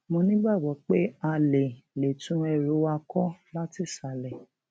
mo nígbàgbọ pé a lè lè tún ẹrù wa kọ látìsàlẹ